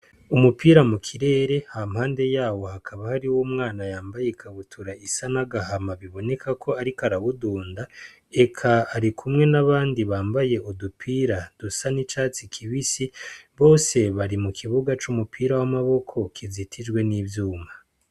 Umupira mu kirere ha mpande yawo hakaba hari umwana yambaye ikabutura isa nagahama biboneka ko ariko arawudunda eka ari kumwe n'abandi bambaye udupira dusa n'icatsi kibisi bose bari mu kibuga c'umupira w'amaboko kizitijwe n'ivyuma.